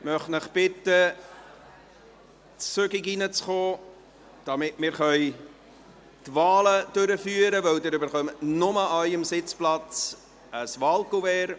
Ich möchte Sie bitten, rasch hereinzukommen, damit wir die Wahlen durchführen können, denn Sie erhalten nur an Ihrem Sitzplatz ein Wahlkuvert.